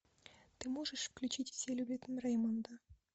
ты можешь включить все любят рэймонда